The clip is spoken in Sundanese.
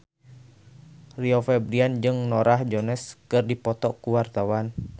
Rio Febrian jeung Norah Jones keur dipoto ku wartawan